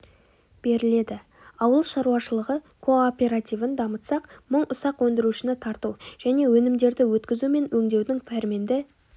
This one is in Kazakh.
беріледі ауыл шаруашылығы кооперативін дамытсақ мың ұсақ өндірушіні тарту және өнімдерді өткізу мен өңдеудің пәрменді